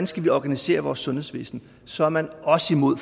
skal organisere vores sundhedsvæsen så er man også imod